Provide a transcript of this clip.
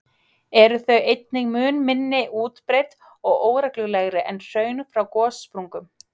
eru þau einnig mun minna útbreidd og óreglulegri en hraun frá gossprungum.